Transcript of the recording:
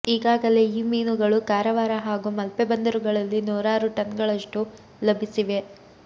ಈಗಾಗಲೇ ಈ ಮೀನುಗಳು ಕಾರವಾರ ಹಾಗೂ ಮಲ್ಪೆ ಬಂದರುಗಳಲ್ಲಿ ನೂರಾರು ಟನ್ಗಳಷ್ಟು ಲಭಿಸಿವೆ